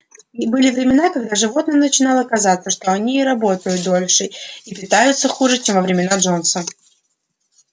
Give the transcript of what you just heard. были времена когда животным начинало казаться что они и работают дольше и питаются хуже чем во времена джонса